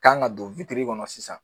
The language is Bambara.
kan ka don kɔnɔ sisan.